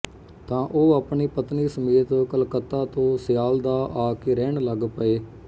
ਤਾਂ ਉਹ ਆਪਣੀ ਪਤਨੀ ਸਮੇਤ ਕਲਕੱਤਾ ਤੋਂ ਸਿਆਲਦਾਅ ਆਕੇ ਰਹਿਣ ਲਗ ਪਏ